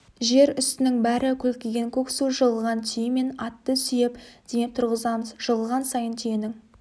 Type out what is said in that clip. жер үстінің бәрі көлкіген көк су жығылған түйе мен атты сүйеп демеп тұрғызамыз жығылған сайын түйенің